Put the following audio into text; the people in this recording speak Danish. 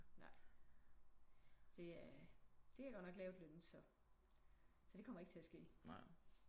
Nej det er det er godt nok lavtlønnet så så det kommer ikke til at ske